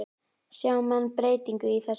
Sjá menn breytingu á þessu?